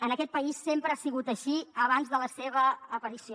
en aquest país sempre ha sigut així abans de la seva aparició